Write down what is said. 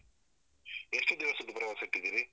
ಎಷ್ಟು ದಿವಸದ್ದು ಪ್ರವಾಸ ಇಟ್ಟಿದ್ದೀರಿ?